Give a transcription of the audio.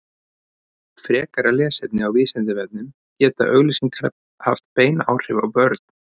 frekara lesefni á vísindavefnum geta auglýsingar haft bein áhrif á börn